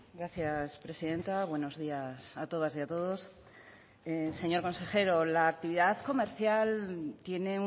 gracias presidenta buenos días a todas y a todos señor consejero la actividad comercial tiene